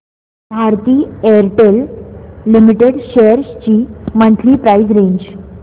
Bharti Airtel limited shares ची monthly price range